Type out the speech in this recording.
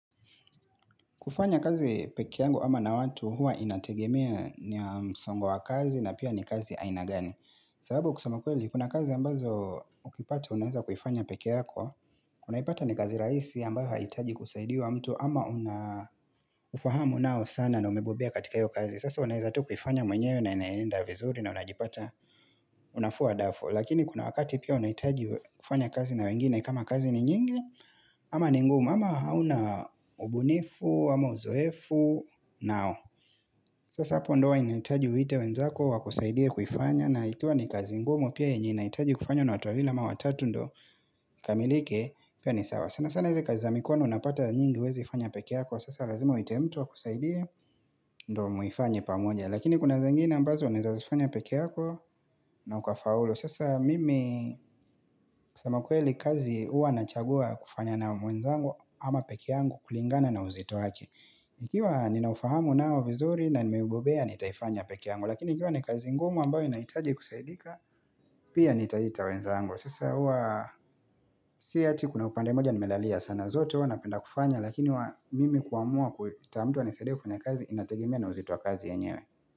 Kufanya kazi peke yangu ama na watu huwa inategemea ni ya msongo wa kazi na pia ni kazi aina gani. Sababu kusema kweli, kuna kazi ambazo ukipata, unaweza kuifanya peke yako, unaipata ni kazi rahisi ambayo haitaji kusaidia wa mtu ama unafahamu nao sana na umebobea katika yu kazi. Sasa unaweza tu kuifanya mwenyewe na inaenda vizuri na unajipata unafua dafu. Lakini kuna wakati pia unahitaji kufanya kazi na wengine kama kazi ni nyingi ama ni ngumu ama hauna ubunifu am uzoefu nao sasa hapo ndo inahitaji uiite wenzako wakusaidie kuifanya na ikiwa ni kazi ngumu pia yenye inahitaji kufanywa na watu wawili ama watatu ndo ikamilike pia ni sawa sana sana hizi kazi za mikono unapata nyingi huwezi ifanya peke yako sasa lazima uite mtu akusaidie ndo muifanye pamoja lakini kuna zingine mbazo unaweza zifanya peke yako na ukafaulu sasa mimi kusema ukweli kazi huwa nachagua kufanya na mwenzangu ama peke yangu kulingana na uzito wake. Ikiwa nina ufahamu nao vizuri na nimeubobea nitaifanya peke yangu. Lakini ikiwa ni kazi ngumu ambayo inahitaji kusaidika Pia nitaita wenzangu Sasa hua si eti kuna upande moja nimelalia sana zote wanapenda kufanya Lakini huwa mimi kuamua kuita mtu anisaidia kufanya kazi Inategemea uzito wa kazi yenyewe.